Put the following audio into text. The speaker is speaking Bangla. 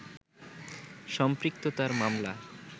সম্পৃক্ততার মামলা